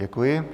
Děkuji.